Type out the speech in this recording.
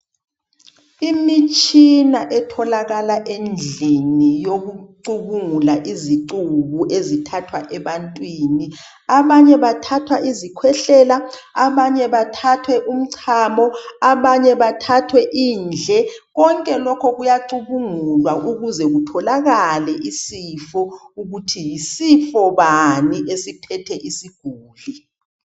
Imitshina etholakala endlini yokucubungula izicubu ezithathwa ebantwini abanye bathathwa izikhwehlela abanye bathathe umchamo abanye bathathwe indle konke lokhu kuyacubungulwa ukuze kutholakale isifo ukuthi yisifo bani esiphethe isiguli.